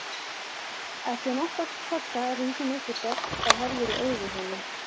Eftir nokkra kossa rís hún upp við dogg og horfir í augu honum.